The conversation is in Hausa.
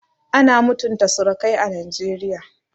Ana mutunta surukai a Najeriya